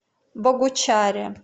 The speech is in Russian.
богучаре